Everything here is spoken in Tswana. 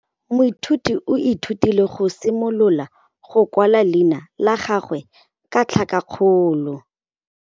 Moithuti o ithutile go simolola go kwala leina la gagwe ka tlhakakgolo.